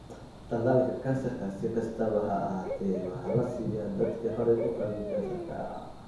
Tallaalka kansarka, si kastaba ha ahaatee, waxaa la siiyaa dadka horey u qabay kansarka.